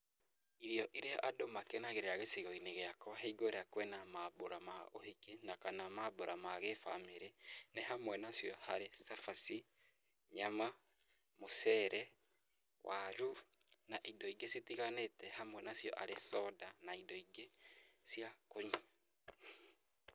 Irio iria andũ makenagĩrĩra gicigo-inĩ gĩakwa hingo ĩrĩa kwĩ na maambura ma ũhiki na kana maambura ma gĩ-bamĩrĩ nĩ hamwe nacio harĩ; cabaci, nyama, mũcere, waru na indo ingĩ citiganĩĩte hamwe nacio arĩ soda na indo ingĩ cia kũnyua.